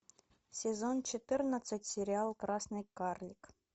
сезон четырнадцать сериал красный карлик